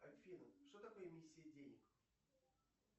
афина что такое миссия денег